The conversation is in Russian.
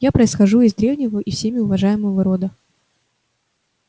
я происхожу из древнего и всеми уважаемого рода